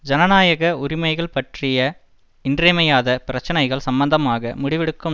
ஜனநாயக உரிமைகள் பற்றிய இன்றியமையாத பிரச்சினைகள் சம்பந்தமாக முடிவெடுக்கும்